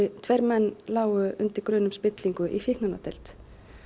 tveir menn lágu undir grun um spillingu í fíkniefnadeild